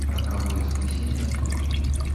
роковое спасение открой